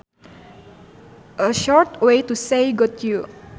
A short way to say got you